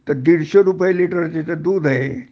तर दीडशे रुपये लिटर तिथं दूध आहे